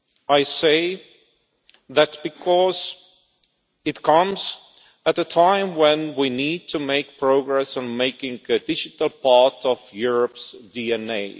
I say that because it comes at a time when we need to make progress on making the digital part of Europe's DNA.